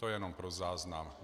To jenom pro záznam.